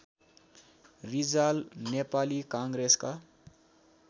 रिजाल नेपाली काङ्ग्रेसका